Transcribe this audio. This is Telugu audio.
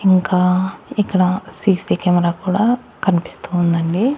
ఇంకా ఇక్కడ సీసీ కెమెరా కూడా కనిపిస్తూ ఉందండి.